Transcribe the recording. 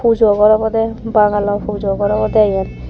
pujo gor obodey bangalo pujo gor obodey eyan.